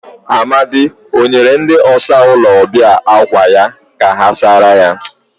Amadi o nyere ndi ọsa ulo obia akwa ya ka ha sara ya?